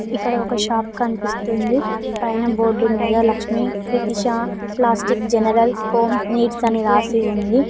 ఇక్కడ ఒక షాప్ కనిపిస్తుంది పైన బోర్డు మీద Lakshmi Tithisha plastic general home needs అని రాసి ఉంది.